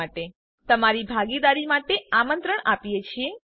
અમે બધી પ્રવૃત્તિઓમાં તમારી ભાગીદારી માટે આમંત્રણ આપીએ છીએ